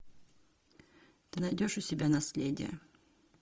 ты найдешь у себя наследие